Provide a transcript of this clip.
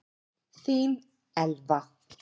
Þín Elfa.